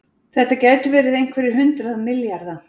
Þetta gætu verið einhverjir hundruð milljarða